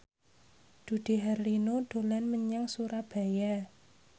Dude Herlino dolan menyang Surabaya